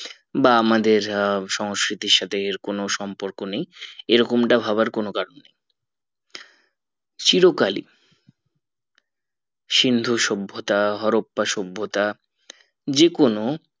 বা আমাদের সংস্কিতির সাথে এর কোনো সম্পর্ক নেই এরকমটা ভাবার কোনো কারণ নেই চিরকালই সিন্ধু সভ্যতা হরপ্পা সভ্যতা যে কোনো